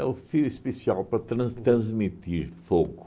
o fio especial para trans transmitir fogo.